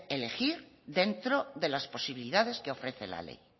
elegir dentro de las posibilidades que ofrece la ley